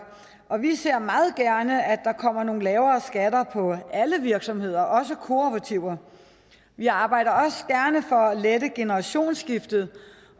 og vi ser meget gerne at der kommer nogle lavere skatter på alle virksomheder også kooperativer vi arbejder også gerne for at lette generationsskiftet